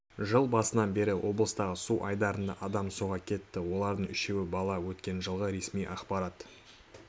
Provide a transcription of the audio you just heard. жыл басынан бері облыстағы су айдындарында адам суға кетті олардың үшеуі бала өткен жылғы ресми ақпарат